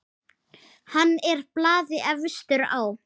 Hann er blaði efstur á.